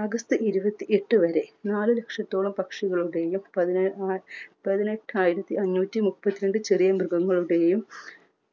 August ഇരുപത്തി എട്ട് വരെ നാല് ലക്ഷത്തോളം പക്ഷികളുടെയും പതിനാ പതിനെട്ടായിരത്തി അഞ്ഞൂറ്റി മുപ്പത്തിരണ്ട് ചെറിയ മൃഗങ്ങളുടെയും